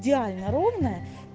идеально ровная